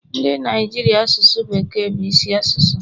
Ndị Naijiria asụsụ bekee bu isi asụsụ